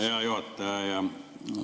Hea juhataja!